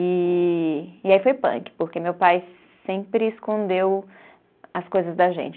Ee, e aí foi punk, porque meu pai sempre escondeu as coisas da gente.